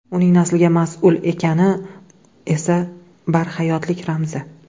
Uning naslga mas’ul ekani esa barhayotlik ramzi.